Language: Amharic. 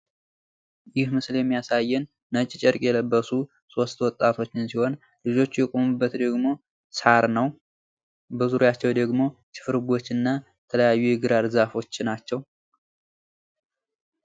ይህ ምስል የሚያሳየን ነጭ ጨርቅ የለበሱ ሶስት ወጣቶችን ሲሆን ልጆቹ የቆሙበት ደግሞ ሳር ነው። በዙርያቸው ደግሞ ችፍርጎችና የግራር ዛፎች ናቸው።